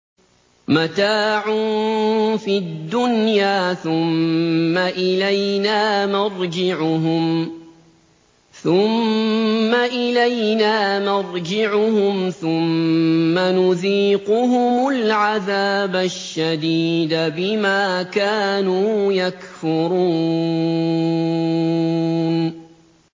مَتَاعٌ فِي الدُّنْيَا ثُمَّ إِلَيْنَا مَرْجِعُهُمْ ثُمَّ نُذِيقُهُمُ الْعَذَابَ الشَّدِيدَ بِمَا كَانُوا يَكْفُرُونَ